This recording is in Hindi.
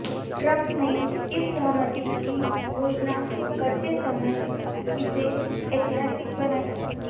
ट्रम्प ने इस सहमति की घोषणा करते समय इसे ऐतिहासिक बताया